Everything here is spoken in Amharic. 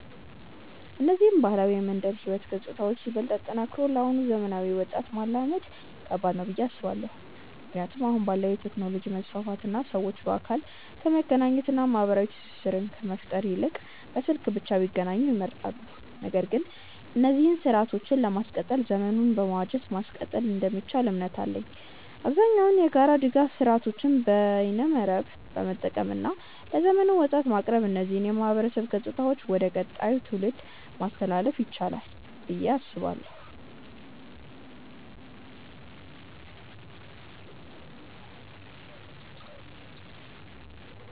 እነዚህን ባህላዊ የመንደር ህይወት ገጽታዎችን ይበልጥ አጠናክሮ ለአሁኑ ዘመናዊ ወጣት ማላመድ ከባድ ነው ብዬ አስባለው። ምክንያቱም አሁን ባለው የቴክኖሎጂ መስፋፋት እና ሰዎች በአካል ከመገናኘት እና ማህበራዊ ትስስር ከመፍጠር ይልቅ በስልክ ብቻ ቢገናኙ ይመርጣሉ። ነገር ግን እነዚህን ስርአቶችን ለማስቀጠል ዘመኑን በመዋጀት ማስቀጠል እንደሚቻል እምነት አለኝ። አብዛኛውን የጋራ ድጋፍ ስርአቶችን በይነመረብን በመጠቀም እና ለዘመኑ ወጣት በማቅረብ እነዚህን የማህበረሰብ ገጽታዎች ወደ ቀጣዩ ትውልድ ማስተላለፍ ይቻላል ብዬ አስባለው።